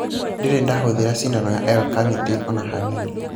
Ndĩrĩ ndahũthĩra cindano ya L- Carnitine ona hanini.